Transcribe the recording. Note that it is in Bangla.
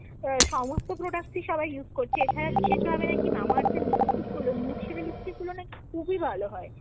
সমস্ত product ই সবাই use করছে। এছাড়া বিশেষ ভাবে নাকি Mamaearth এর lipstick গুলো nude shade এর lipstick গুলো নাকি খুবই ভালো হয়।